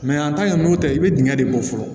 an ta ye n'o tɛ i bɛ dingɛ de bɔ fɔlɔ